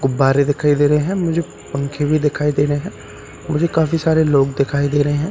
गुब्बारे दिखाई दे रहे है मुझे पंखे भी दिखाई दे रहे है मुझे काफी सारे लोग दिखाई दे रहे हैं मुझ --